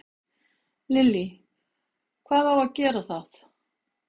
Lillý: Hvað á að gera það?